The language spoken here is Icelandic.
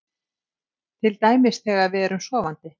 Til dæmis þegar við erum sofandi?